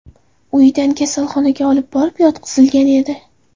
uyidan kasalxonaga olib borib yotqizilgan edi.